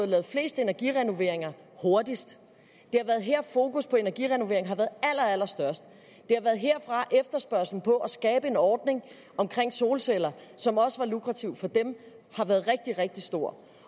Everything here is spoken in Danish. lavet flest energirenoveringer hurtigst det er her fokus på energirenovering har været allerstørst det er herfra efterspørgslen på at skabe en ordning omkring solceller som også var lukrativ for dem har været rigtig rigtig stor